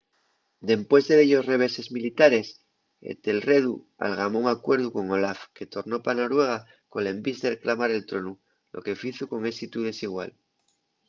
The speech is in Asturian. dempués de dellos reveses militares etelredu algamó un acuerdu con olaf que tornó pa noruega col envís de reclamar el tronu lo que fizo con ésitu desigual